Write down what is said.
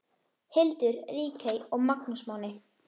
Hildur, Ríkey og Magnús Máni.